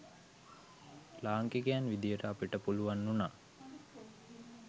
ලාංකිකයන් විදිහට අපට පුළුවන් වුණා